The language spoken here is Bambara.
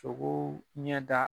Togoo ɲɛ da